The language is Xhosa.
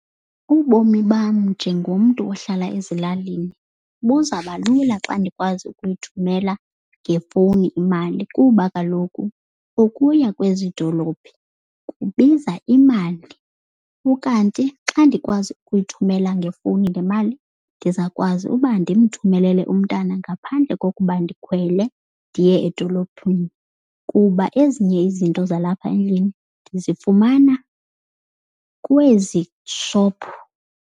Ubomi bam njengomntu ohlala ezilalini buzabalula xa ndikwazi ukuyithumela ngefowuni imali kuba kaloku ukuya kwezi dolophi kubiza imali. Ukanti xa ndikwazi ukuyithumela ngefowuni le mali, ndizawukwazi uba ndimthumelele umntana ngaphandle kokuba ndikhwele ndiye edolophini. Kuba ezinye izinto zalapha endlini ndizifumana kwezi shophu.